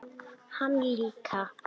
Hann líka.